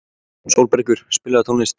Sólbergur, spilaðu tónlist.